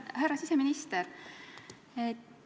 Härra siseminister!